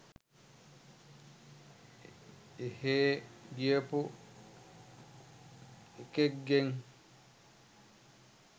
එහේ ගියපු එකෙක්ගෙන්